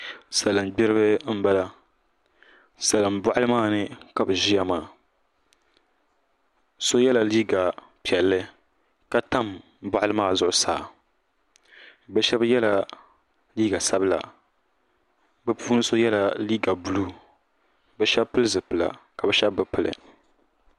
salin gbiribi n bala salin boɣali maa ni ka bi ʒiya maa so yɛla liiga piɛlli ka tam boɣali maa zuɣusaa bi shab yɛla liiga sabila bi puuni so yɛla liiga buluu bi shab pili zipila ka bi shab bi pili